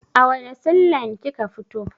A wanne sin lin kika fito?